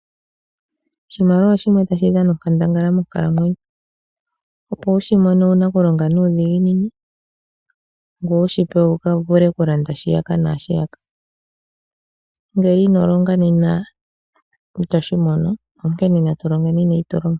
Oshimaliwa oshimwe tashi dhana onkandangala monkalamwenyo opo wu shi mone owu na okulonga nuudhiginini ngoye wu shi pewe wu vule okulanda shiyaka naashiyaka ngele ino longa nena ito shi mono onkene na tu longeni neyitulomo.